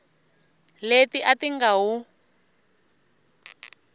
leti a ti nga wu